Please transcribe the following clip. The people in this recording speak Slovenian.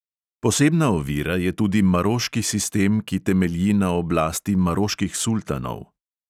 Posebna ovira je tudi maroški sistem, ki temelji na oblasti maroških sultanov.